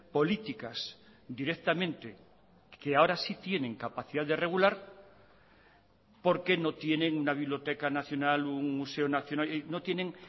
políticas directamente que ahora sí tienen capacidad de regular porque no tienen una biblioteca nacional un museo nacional no tienen